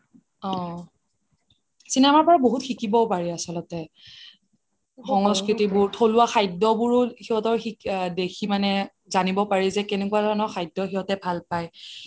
অ cinema ৰ পৰা বহুত শিকিবও পাৰি আচলতে সংস্কৃতি বোৰ থলুৱা খাদ্য বোৰ সিঁহতৰ দেখি মানে জানিব পাৰি যে কেনেকুৱা ধৰণৰ খাদ্য সিহঁতে ভাল পায়